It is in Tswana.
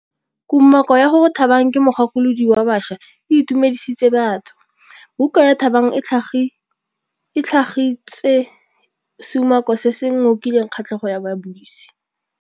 Kumakô ya gore Thabang ke mogakolodi wa baša e itumedisitse batho. Buka ya Thabang e tlhagitse seumakô se se ngokileng kgatlhegô ya babuisi.